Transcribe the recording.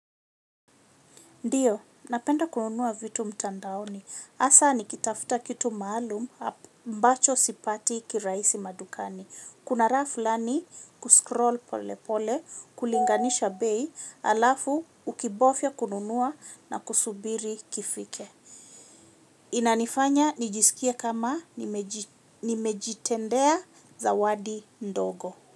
Ndiyo, napenda kununuwa vitu mtandaoni. Hasa nikitafuta kitu maalum ambacho sipati kirahisi madukani. Kuna raha fulani kuscroll pole pole kulinganisha bei halafu ukibofya kununua na kusubiri kifike. Inanifanya nijisikie kama nimejitendea zawadi ndogo.